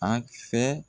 A fɛ